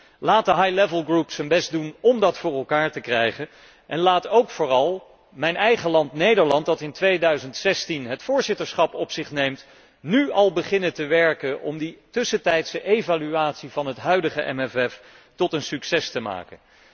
Dus, laat de groep op hoog niveau zijn best doen om dat voor elkaar te krijgen en laat ook vooral mijn eigen land, Nederland, dat in 2016 het voorzitterschap op zich neemt, nu al beginnen werken om die tussentijdse evaluatie van het huidige MFK tot een succes te maken.